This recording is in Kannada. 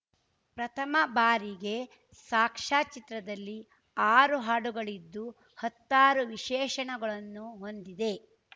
ಪ್ರಥಮ ಬಾರಿಗೆ ಸಾಕ್ಷ್ಯಚಿತ್ರದಲ್ಲಿ ಆರು ಹಾಡುಗಳಿದ್ದು ಹತ್ತಾರು ವಿಶೇಷಣಗಳನ್ನು ಹೊಂದಿದೆ